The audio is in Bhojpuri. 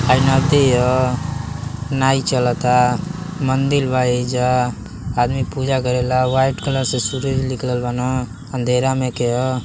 हइ नदी ह । नाइ चलता। मंदिर बा। एहिजा आदमी पूजा करेलन। वाईट कलर से सुरज निकलल बाने। अंधरा में के ह ।